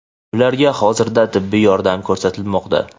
ularga hozirda tibbiy yordam ko‘rsatilmoqda.